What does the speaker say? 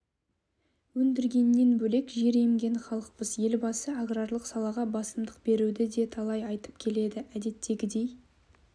өндіргеннен бөлек жер емген халықпыз елбасы аграрлық салаға басымдық беруді де талай айтып келеді әдеттегідей